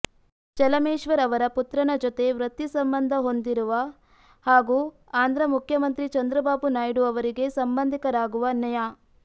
ಚಲಮೇಶ್ವರ್ ಅವರ ಪುತ್ರನ ಜೊತೆ ವೃತ್ತಿ ಸಂಬಂಧ ಹೊಂದಿರುವ ಹಾಗು ಆಂಧ್ರ ಮುಖ್ಯಮಂತ್ರಿ ಚಂದ್ರಬಾಬು ನಾಯ್ಡು ಅವರಿಗೆ ಸಂಬಂಧಿಕರಾಗಿರುವ ನ್ಯಾ